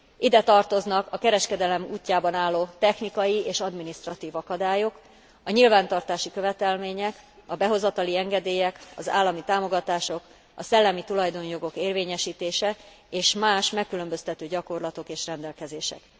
Ide tartoznak a kereskedelem útjában álló technikai és adminisztratív akadályok, a nyilvántartási követelmények, a behozatali engedélyek, az állami támogatások, a szellemi tulajdonjogok érvényesítése és más megkülönböztető gyakorlatok és rendelkezések.